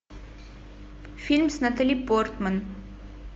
фильм с натали портман